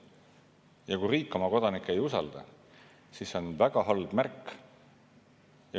Ja kui riik oma kodanikke ei usalda, siis see on väga halb märk.